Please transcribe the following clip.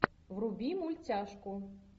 вруби мультяшку